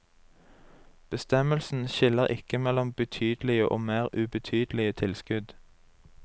Bestemmelsen skiller ikke mellom betydelige og mer ubetydelige tilskudd.